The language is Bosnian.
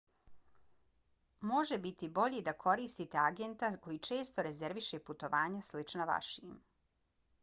može biti bolje da koristite agenta koji često rezerviše putovanja slična vašim